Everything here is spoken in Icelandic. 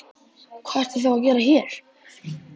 Hvað ertu þá að gera hér?